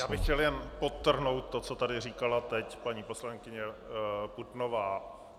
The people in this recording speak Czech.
Já bych chtěl jen podtrhnout to, co tady říkala teď paní poslankyně Putnová.